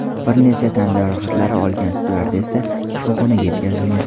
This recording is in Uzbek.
Bir necha tan jarohatlarini olgan styuardessa shifoxonaga yetkazilgan.